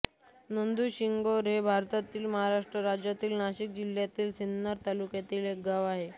नांदुरशिंगोटे हे भारताच्या महाराष्ट्र राज्यातील नाशिक जिल्ह्यातील सिन्नर तालुक्यातील एक गाव आहे